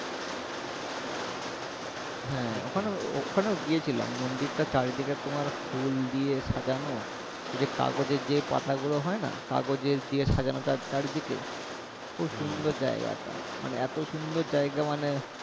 হ্যাঁ ওখানেও ওখানেও গিয়েছিলাম মন্দিরটা চারিদিকে তোমার ফুল দিয়ে সাজানো ওই যে কাগজের যে পাতা গুলো হয়না কাগজের দিয়ে সাজানো চার চারিদিকে খুব সুন্দর জায়গাটা মানে এতো সুন্দর জায়গা মানে